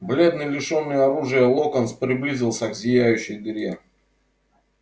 бледный лишённый оружия локонс приблизился к зияющей дыре